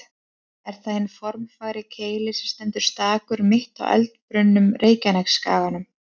Er það hinn formfagri Keilir sem stendur stakur, mitt á eldbrunnum Reykjanesskaganum.